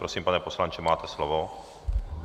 Prosím, pane poslanče, máte slovo.